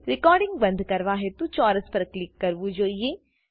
recording બંદ કરવા હેતુ ચોરસ પર ક્લિક કરવું જોઈએ